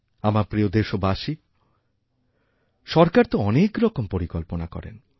আমার প্রিয় দেশবাসীসরকার তো অনেকরকম পরিকল্পনা করেন